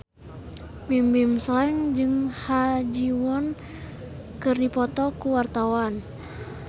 Bimbim Slank jeung Ha Ji Won keur dipoto ku wartawan